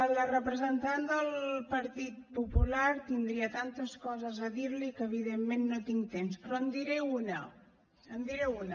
a la representant del partit popular tindria tantes coses a dir li que evidentment no tinc temps però en diré una en diré una